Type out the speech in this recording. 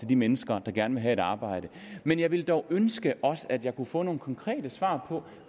de mennesker der gerne vil have et arbejde men jeg ville dog ønske at jeg kunne få nogle konkrete svar på